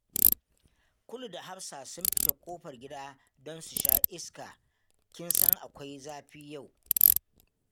Kulu da Hafsa sun fita ƙofar gida don su sha iska. Kin san akwai zafi yau